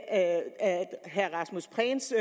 af herre rasmus prehns